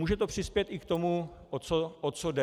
Může to přispět i k tomu, o co jde.